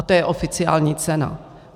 A to je oficiální cena.